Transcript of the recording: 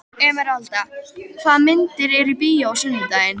Emeralda, hvaða myndir eru í bíó á sunnudaginn?